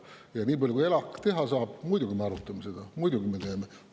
Ja nii palju kui ELAK saab, me muidugi arutame seda, me muidugi teeme.